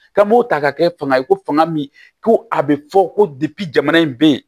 K'an b'o ta ka kɛ fanga ye ko fanga min ko a bɛ fɔ ko jamana in bɛ yen